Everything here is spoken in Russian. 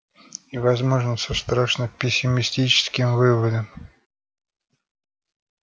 и возможно со страшно пессимистическим выводом